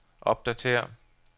opdatér